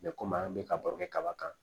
komi an bɛ ka baro kɛ kaba kan